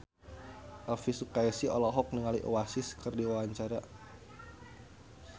Elvi Sukaesih olohok ningali Oasis keur diwawancara